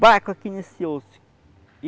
Baco aqui nesse osso.